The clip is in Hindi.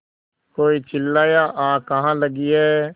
कोई चिल्लाया आग कहाँ लगी है